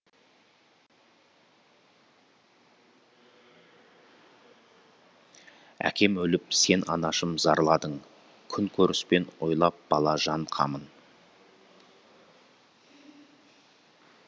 әкем өліп сен анашым зарладың күнкөріспен ойлап бала жан қамын